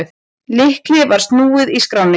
Lykli var snúið í skránni.